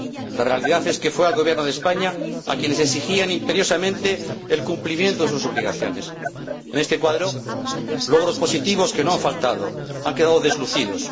La realidad es que fue al Gobierno de España al que le exigían imperiosamente el cumplimiento de sus obligaciones. En este marco, logros positivos, que no han faltado, han quedado deslucidos.